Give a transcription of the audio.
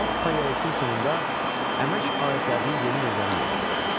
Alt paleolitin sonunda əmək alətlərinin yeni növləri meydana gəlmişdi.